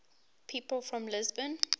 people from lisbon